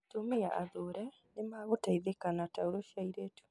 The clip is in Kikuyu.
Atumia athure nĩ magũteithĩka na taurũ cia airĩtu